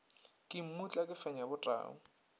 ke mmutla ke fenya botau